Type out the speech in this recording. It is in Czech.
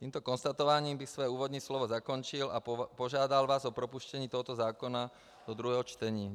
Tímto konstatováním bych své úvodní slovo zakončil a požádal vás o propuštění tohoto zákona do druhého čtení.